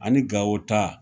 Ani Gawo ta